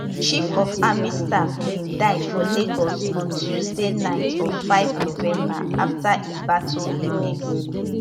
chief of army staff bin die for lagos on tuesday night of 5 november afta e battle illness